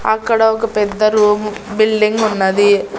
అక్కడ ఒక పెద్ద రూమ్ బిల్డింగ్ ఉన్నది.